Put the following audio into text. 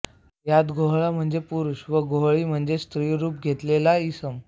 यात गोहळा म्हणजे पुरुष व गोहळी म्हणजे स्त्रीरुप घेतलेला इसम